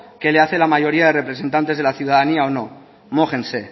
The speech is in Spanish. que le hace la mayoría de representantes de la ciudadanía o no mójense